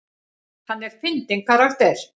Hann er fyndinn karakter.